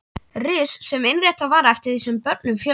Ris sem innréttað var eftir því sem börnum fjölgaði.